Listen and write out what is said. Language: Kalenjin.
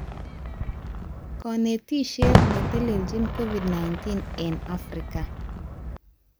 Kanetishet netelechin Covid-19 eng Afrika